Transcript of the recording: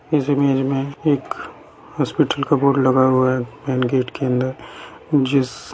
इस इमेज मे एक हॉस्पिटल का बोर्ड लगा हुआ है मैन गेट के अंदर जिस --